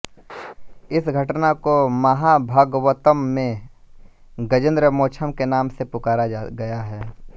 इस घटना को महाभगवतम में गजेंद्रमोक्षम के नाम से पुकारा गया है